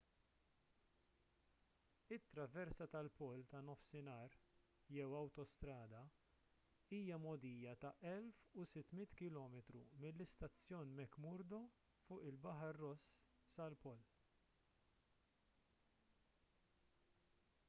it-traversa tal-pol tan-nofsinhar jew awtostrada hija mogħdija ta' 1600 km mill-istazzjon mcmurdo fuq il-baħar ross sal-pol